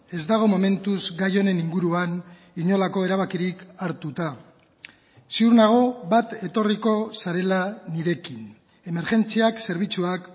ez dago momentuz gai honen inguruan inolako erabakirik hartuta ziur nago bat etorriko zarela nirekin emergentziak zerbitzuak